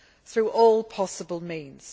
through all possible means.